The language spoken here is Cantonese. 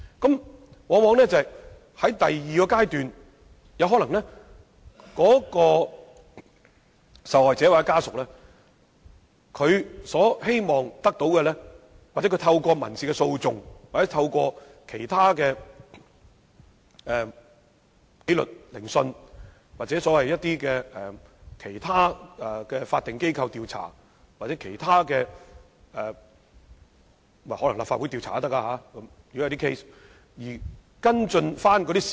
到了第二階段，受害者或家屬往往希望透過民事訴訟、紀律聆訊、其他法定機構的調查，甚或可能是立法會進行的調查而跟進事實。